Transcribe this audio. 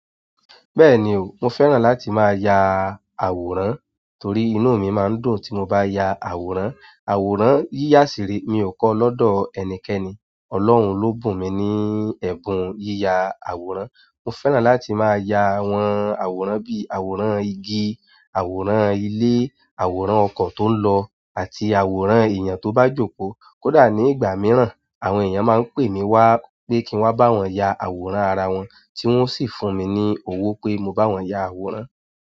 Bẹ́ẹ̀ni o, mo fẹ́ràn láti máa ya àwòrán torí inú mi máa ń dùn tí mo bá ya àwòrán. Àwòrán yíya ṣiree mi ò kọ́ lọ́dọ̀ ẹnikẹ́ni, Ọlọ́hun ló bù mí ní ẹ̀bùn yíya àwòrán. Mo fẹ́ràn láti máa ya àwọn àwòrán bí i àwòrán igi, àwòrán ilé, àwòrán ọkọ̀ tó ń lọ àti àwòrán èèyàn tó bá jókòó. Kódà ní ìgbà mìíràn, àwọn èèyàn máa ń pè mí wá pé kí n wá bá wọn ya àwòrán ara wọn tí wọ́n sì fún mi ní owó pé mo bá wọn ya àwòrán.